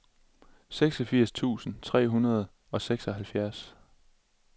seksogfirs tusind tre hundrede og seksoghalvfjerds